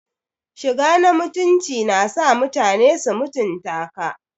Shiga na mutunci na sa mutane su mutunta ka.